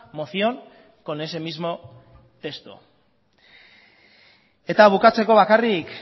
moción con ese mismo texto eta bukatzeko bakarrik